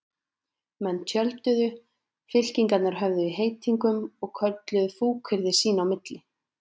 Menn tjölduðu, fylkingarnar höfðu í heitingum og kölluðu fúkyrði sín á milli.